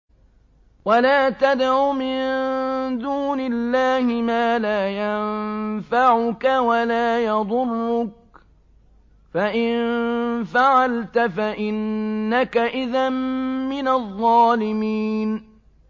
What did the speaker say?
وَلَا تَدْعُ مِن دُونِ اللَّهِ مَا لَا يَنفَعُكَ وَلَا يَضُرُّكَ ۖ فَإِن فَعَلْتَ فَإِنَّكَ إِذًا مِّنَ الظَّالِمِينَ